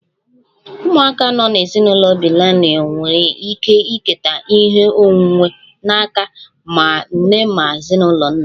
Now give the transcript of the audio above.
Ụmụaka nọ n'ezinụlọ bilinalụ nwere ike iketa ihe onwunwe n'aka ma nna ma ezinụlọ nne